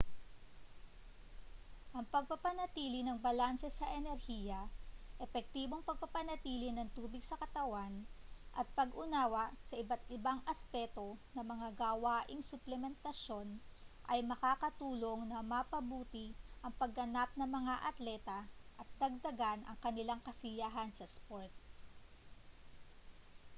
ang pagpapanatili ng balanse sa enerhiya epektibong pagpapanatili ng tubig sa katawan at pag-unawa sa iba't ibang aspeto ng mga gawaing suplementasyon ay makakatulong na mapabuti ang pagganap ng mga atleta at dagdagan ang kanilang kasiyahan sa sport